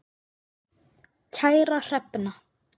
Kæra Hrefna.